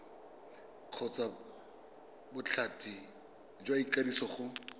kgotsa bothati jwa ikwadiso go